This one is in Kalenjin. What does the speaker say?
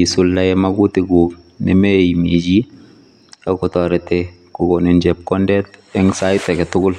isuldae magutikuk nemeimichi akotoret kokonin chepkondet eng sait agetugul.